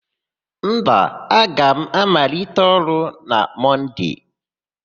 Mba, aga m amalite ọrụ na Mọnde.